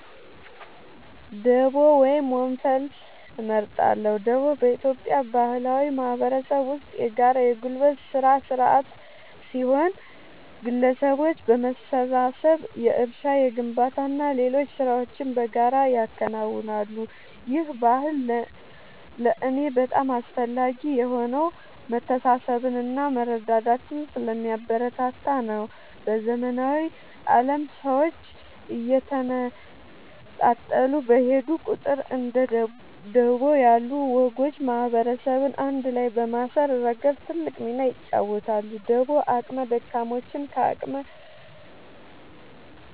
ደቦ ወይም ወንፈል እመርጣለሁ። ደቦ በኢትዮጵያ ባህላዊ ማህበረሰብ ውስጥ የጋራ የጉልበት ሥራ ሥርዓት ሲሆን፣ ግለሰቦች በመሰባሰብ የእርሻ፣ የግንባታና ሌሎች ሥራዎችን በጋራ ያከናውናሉ። ይህ ባህል ለእኔ በጣም አስፈላጊ የሆነው መተሳሰብንና መረዳዳትን ስለሚያበረታታ ነው። በዘመናዊው ዓለም ሰዎች እየተነጣጠሉ በሄዱ ቁጥር፣ እንደ ደቦ ያሉ ወጎች ማህበረሰብን አንድ ላይ በማሰር ረገድ ትልቅ ሚና ይጫወታሉ። ደቦ አቅመ ደካሞችን ከአቅመ